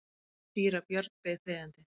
Síra Björn beið þegjandi.